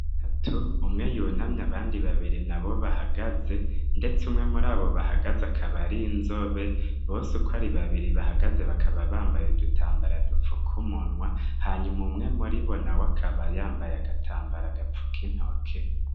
Tatu umwe yunamye abandi babiri na bo bahagaze, ndetse umwe muri abo bahagaze akabarinzobe bose uko ari babiri bahagaze bakaba bambaye dutambara dupfok'umunwa hanyuma umwe muri bona we akaba yambaye agatambara agapfu kintoke.